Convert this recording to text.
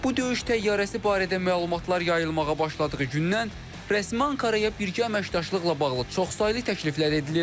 Bu döyüş təyyarəsi barədə məlumatlar yayılmağa başladığı gündən rəsmi Ankaraya birgə əməkdaşlıqla bağlı çoxsaylı təkliflər edilir.